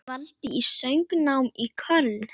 Dvaldi við söngnám í Köln.